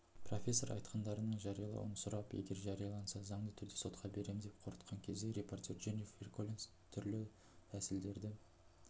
профессор айтқандарының жариялауын сұрап егер жарияланса заңды түрде сотқа беремін деп қорқытқан кезде репортер дженнифер коллинс түрлі тсілдерді